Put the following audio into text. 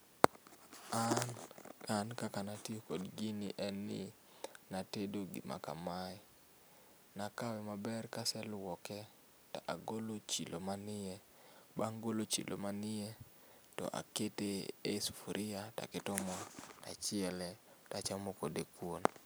An, an kaka natiyo kod gini en ni natedo gima kamae. Nakawe maber kaseluoke to agolo chilo man iye, bang' golo chilo man iye to akete e sufria, to aketo moo tachiele to achamo kode kuon